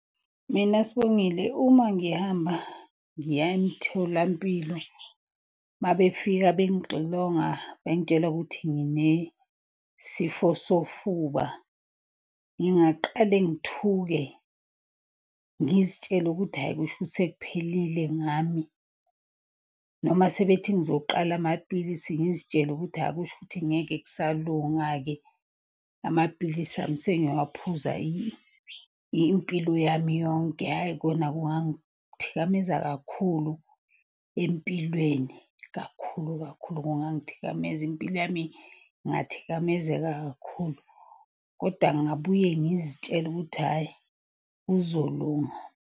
Mina Sibongile uma ngihamba, ngiya emtholampilo, uma befika bengixilonga bengitshela ukuthi nginesifo sofuba. Ngingaqale ngithuke ngizitshele ukuthi hhayi kushukuthi sekuphelile ngami. Noma sebethi ngizoqala amaphilisi ngizitshele ukuthi hhayi kusho ukuthi ngeke kusalunga-ke. Amaphilisi ami sengiyowaphuza impilo yami yonke, hhayi kona kungangithikameza kakhulu empilweni kakhulu kakhulu. Kungangithikameza impilo yami ingathikamezeka kakhulu, koda ngingabuye ngizitshele ukuthi hhayi kuzolunga.